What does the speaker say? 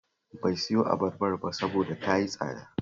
Bai siyo abarbar ba saboda ta yi tsada